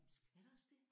Er der også det?